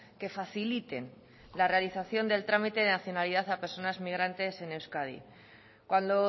que faciliten la realización del trámite de nacionalidad a personas inmigrantes en euskadi cuando